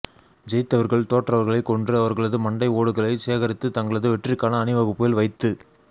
ஜெயித்தவர்கள் தோற்றவர்களைக் கொன்று அவர்களது மண்டை ஓடுகளைச் சேகரித்து தங்களது வெற்றிக்கான அணிவகுப்பில் வைத்து